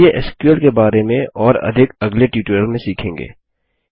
चलिए एसक्यूएल के बारे में और अधिक अगले ट्यूटोरियल में सीखेंगे